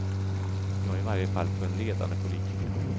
Ja, i varje fall för en ledande politiker.